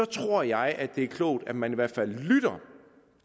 tror jeg det er klogt at man i hvert fald lytter